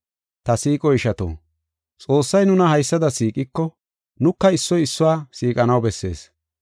Ta siiqo ishato, Xoossay nuna haysada siiqiko, nuka issoy issuwa siiqanaw bessees.